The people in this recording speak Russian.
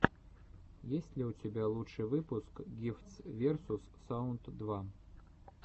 есть ли у тебя лучший выпуск гифтс версус саунд два